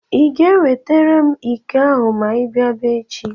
Ị ga-ewetara m iko ahụ ma i bịaba echi?